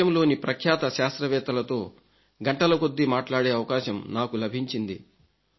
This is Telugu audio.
దేశంలోని ప్రఖ్యాత శాస్త్రవేత్తలతో గంటలకొద్దీ మాట్లాడే అవకాశం నాకు లభించింది